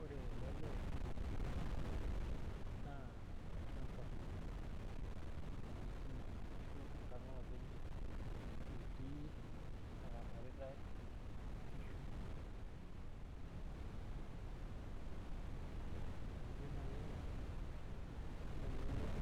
Ore ele lee naa olchamba etii ashuu enkang' olopeny' etii ashu eramarita inkishu tenijio naaji aing'or ore ele leee